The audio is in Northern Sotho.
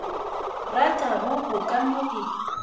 ratago o ka no e